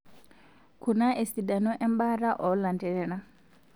Kuna esidano embaata olanterera;